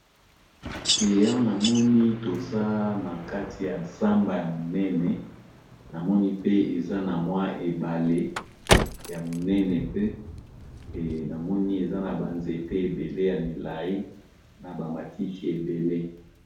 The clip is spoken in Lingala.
Awa na moni toza na kati ya zamba ya monene, na moni pe eza na mwa ebale ya monene pe na moni eza na ba nzete ébélé ya milayi na ba matiki ébélé.